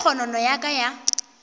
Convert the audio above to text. ge kgonono ya ka ya